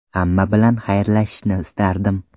Hamma bilan xayrlashishni istardim.